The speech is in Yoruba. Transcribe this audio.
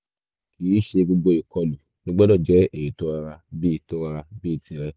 kìí ṣe gbogbo ìkọlù ló gbọ́dọ̀ jẹ́ èyí tó rọra bí tó rọra bí tìrẹ